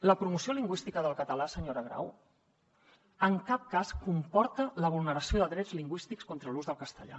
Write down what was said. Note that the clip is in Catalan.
la promoció lingüística del català senyora grau en cap cas comporta la vulneració de drets lingüístics contra l’ús del castellà